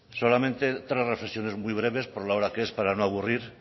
solamente tres reflexiones muy breves por la hora que es para no aburrir